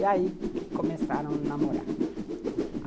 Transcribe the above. É aí que começaram a namorar.